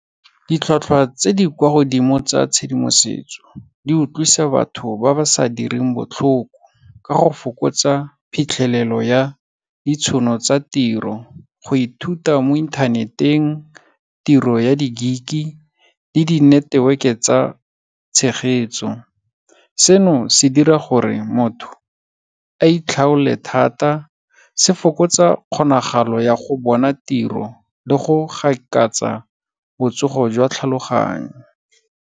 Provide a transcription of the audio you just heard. Ditlhwatlhwa tse di kwa godimo tsa tshedimosetso, di utlwisa batho ba ba sa direng botlhoko, ka go fokotsa phitlhelelo ya ditshono tsa tiro, go ithuta mo internet-eng, tiro ya di-gig-e le di-network-e tsa tshegetso. Seno se dira gore motho a itlhaole thata, se fokotsa kgonagalo ya go bona tiro le go gaakatsa botŝogo jwa tlhaloganyo.